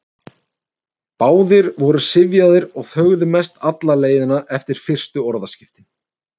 Báðir voru syfjaðir og þögðu mest alla leiðina eftir fyrstu orðaskiptin.